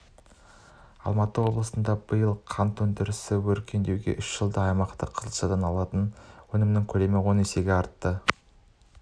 алматы облысында биыл қант өндірісі өркендеуде үш жылда аймақта қызылшадан алынатын өнім көлемі он есеге артты